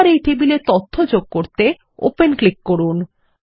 এবার এই টেবিল এ তথ্য যোগ করতে ওপেন ক্লিক করুন